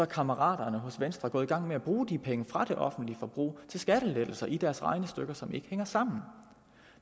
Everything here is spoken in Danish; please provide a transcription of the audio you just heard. kammeraterne hos venstre gået i gang med at bruge de penge fra det offentlige forbrug til skattelettelser i deres regnestykker som ikke hænger sammen